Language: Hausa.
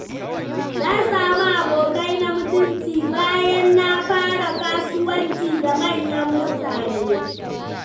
Na samu abokai na mutunci bayan na fara kasuwanci da manyan mutane.